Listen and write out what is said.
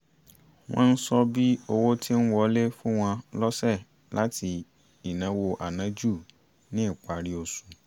wọ́n ń ṣọ́ bí owó ti ń wọlé fún wọn lọ́sẹ̀ láti ìnáwó ànájù ní ìparí oṣù